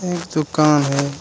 यह एक दुकान है।